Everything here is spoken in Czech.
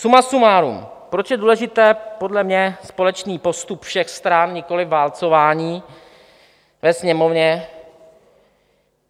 Suma sumárum, proč je důležitý podle mě společný postup všech stran, nikoliv válcování ve Sněmovně?